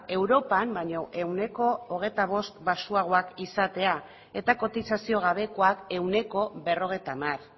europan baino ehuneko hogeita bost baxuagoak izatea eta kotizazio gabekoak ehuneko berrogeita hamar